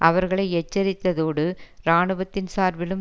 அவர்களை எச்சரித்ததோடு இராணுவத்தின் சார்பிலும்